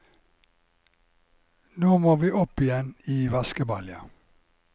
Nå må vi opp igjen i vaskebalja.